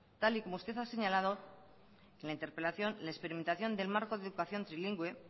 tal y como usted ha señalado en la interpelación la experimentación del marco de educación trilingüe